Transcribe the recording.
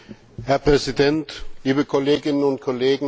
Herr Präsident, liebe Kolleginnen und Kollegen!